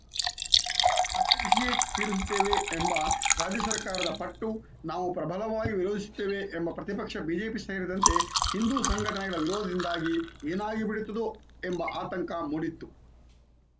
ಆಚರಿಸಿಯೇ ತೀರಿಸುತ್ತೇವೆ ಎಂಬ ರಾಜ್ಯ ಸರ್ಕಾರದ ಪಟ್ಟು ನಾವು ಪ್ರಬಲವಾಗಿ ವಿರೋಧಿಸುತ್ತೇವೆ ಎಂಬ ಪ್ರತಿಪಕ್ಷ ಬಿಜೆಪಿ ಸೇರಿದಂತೆ ಹಿಂದೂ ಸಂಘಟನೆಗಳ ವಿರೋಧದಿಂದಾಗಿ ಏನಾಗಿಬಿಡುತ್ತದೋ ಎಂಬ ಆತಂಕ ಮೂಡಿತ್ತು